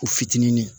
U fitinin